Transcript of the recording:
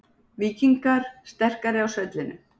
Víkingar sterkari á svellinu